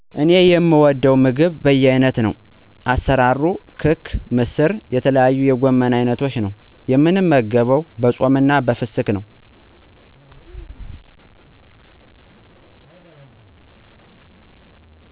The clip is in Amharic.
እኔ የምወደው ምግብ በየአይነት ነው። አሰራርሩ ክክ ምስር የተለያዩ የጎመን አይነቶች ነው። የምንመገበው በፆምና በፍስክ ነው።